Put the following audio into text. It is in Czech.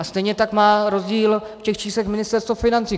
A stejně tak má rozdíl v těch číslech Ministerstvo financí.